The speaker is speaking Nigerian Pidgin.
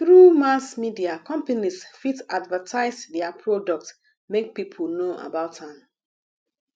through mass media companies fit advertise their product make people know about am